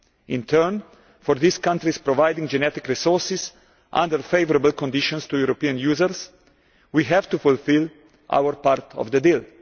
In turn, for these countries to provide genetic resources under favourable conditions to European users, we have to fulfil our part of the deal.